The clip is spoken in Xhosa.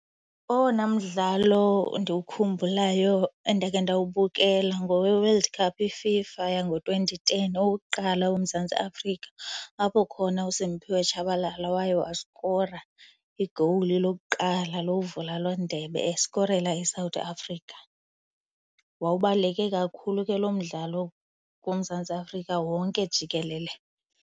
Owona mdlalo endiwukhumbulayo endake ndawubukela ngoweWorld Cup iFIFA yango-twenty ten owokuqala woMzantsi Afrika apho khona uSimphiwe Tshabalala waye waskora i-goal lokuqala lokuvula loo ndebe eskorela iSouth Africa. Wawubaluleke kakhulu ke lo mdlalo kuMzantsi Afrika wonke jikelele.